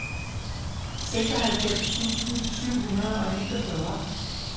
seksoghalvfems tusind syv hundrede og niogfyrre